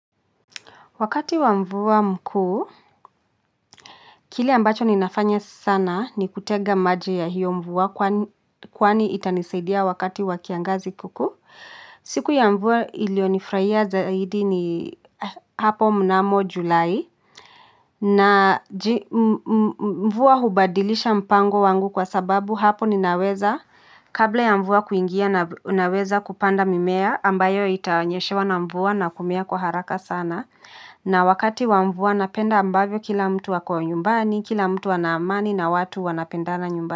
Wakati wa mvua mkuu, kile ambacho ninafanya sana ni kutega maji ya hiyo mvua kwani itanisaidia wakati wakiangazi kuku. Siku ya mvua ilio nifraia zaidi ni hapo mnamo Julai. Na mvua hubadilisha mpango wangu kwa sababu hapo ninaweza kabla ya mvua kuingia na naweza kupanda mimea ambayo itanyeshewa na mvua na kumea kwa haraka sana. Na wakati wa mvua napenda ambavyo kila mtu wako nyumbani, kila mtu wanaamani na watu wanapenda na nyumbani.